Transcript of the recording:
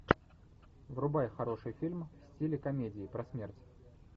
врубай хороший фильм в стиле комедии про смерть